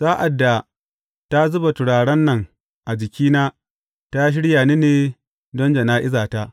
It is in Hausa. Sa’ad da ta zuba turaren nan a jikina, ta shirya ni ne don jana’izata.